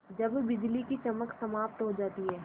जब बिजली की चमक समाप्त हो जाती है